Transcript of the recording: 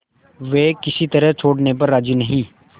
वे किसी तरह छोड़ने पर राजी नहीं